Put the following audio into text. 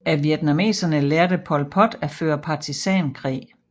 Af vietnameserne lærte Pol Pot at føre partisankrig